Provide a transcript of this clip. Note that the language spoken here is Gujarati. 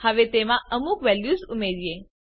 હવે તેમાં અમુક વેલ્યુઝ ઉમેરીએ